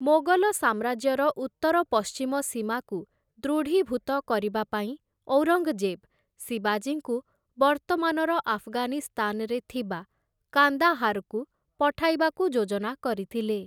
ମୋଗଲ ସାମ୍ରାଜ୍ୟର ଉତ୍ତର ପଶ୍ଚିମ ସୀମାକୁ ଦୃଢ଼ୀଭୂତ କରିବା ପାଇଁ ଔରଙ୍ଗଜେବ୍‌, ଶିବାଜୀଙ୍କୁ ବର୍ତ୍ତମାନର ଆଫଗାନିସ୍ତାନ୍‌ରେ ଥିବା କାନ୍ଦାହାର୍‌କୁ ପଠାଇବାକୁ ଯୋଜନା କରିଥିଲେ ।